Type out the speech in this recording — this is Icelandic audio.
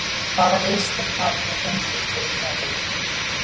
Hvaða liðsstyrk hafið þið fengið fyrir tímabilið?